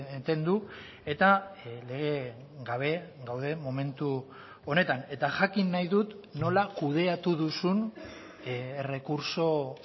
eten du eta lege gabe gaude momentu honetan eta jakin nahi dut nola kudeatu duzun errekurtso